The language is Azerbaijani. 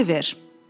Oliver!